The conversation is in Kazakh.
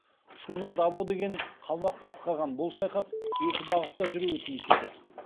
шуна дабо деген қалмақ басқарған бұл шайқас екі бағытта жүруі тиіс еді